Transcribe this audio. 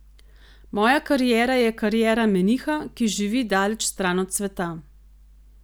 Moja kariera je kariera meniha, ki živi daleč stran od sveta.